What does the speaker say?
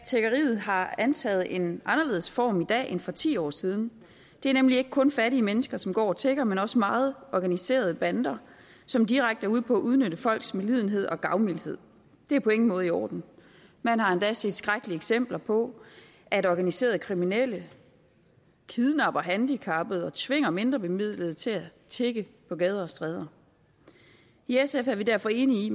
tiggeriet har antaget en anderledes form i dag end for ti år siden det er nemlig ikke kun fattige mennesker som går og tigger men også meget organiserede bander som direkte er ude på at udnytte folks medlidenhed og gavmildhed det er på ingen måde i orden man har endda set skrækkelige eksempler på at organiserede kriminelle kidnapper handicappede og tvinger mindrebemidlede til at tigge på gader og stræder i sf er vi derfor enige i